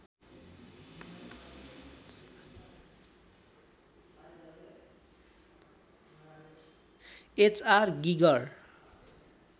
HR Geiger